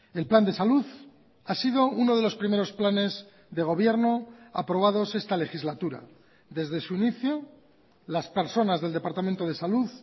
el plan de salud ha sido uno de los primeros planes de gobierno aprobados esta legislatura desde su inicio las personas del departamento de salud